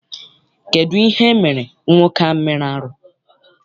Kedụ ihe emere nwoke ahụ mere arụ?